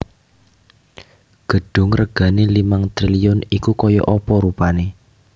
Gedung regane limang triliun iku koyok opo rupane?